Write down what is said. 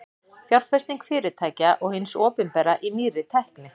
Fjárfesting fyrirtækja og hins opinbera í nýrri tækni.